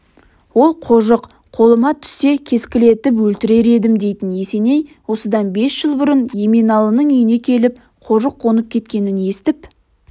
ол қожық қолыма түссе кескілетіп өлтірер едім дейтін есеней осыдан бес жыл бұрын еменалының үйіне келіп қожық қонып кеткенін естіп